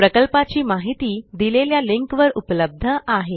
प्रकल्पाची माहिती दिलेल्या लिंकवर उपलब्ध आहे